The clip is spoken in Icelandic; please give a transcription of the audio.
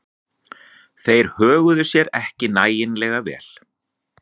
Þeir höguðu sér ekki nægilega vel.